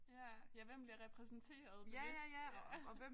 Ja ja hvem bliver repræsenteret bevidst ja